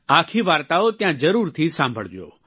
આખી વાર્તાઓ ત્યાં જરૂરથી સાંભળજો